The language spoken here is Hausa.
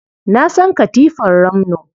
Na san katifar ramno.